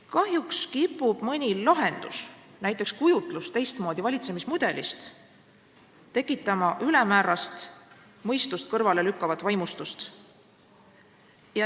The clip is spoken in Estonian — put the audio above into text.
Kahjuks kipub mõni lahendus, näiteks kujutlus teistmoodi valitsemismudelist, tekitama ülemäärast, mõistust kõrvale lükkavat vaimustust.